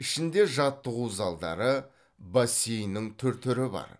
ішінде жаттығу залдары бассейннің түр түрі бар